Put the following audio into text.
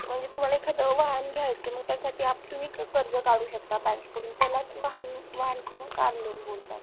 म्हणजे तुम्हाला एखादं वाहन घ्यायचे मग त्यासाठी तुम्ही कर्ज काढू शकता bank कडून त्यालाच वाहन किंवा कार loan बोलतात